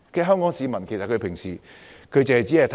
香港市民平時只着眼公平。